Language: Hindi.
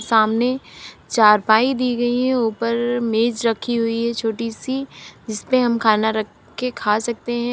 सामने चारपाई दी गई है। ऊपर मेज रखी हुई है छोटी सी जिस पे हम खाना रख के खा सकते हैं।